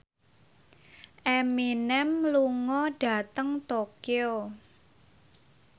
Eminem lunga dhateng Tokyo